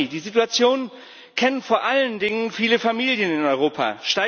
Die Situation kennen vor allen Dingen viele Familien in Europa.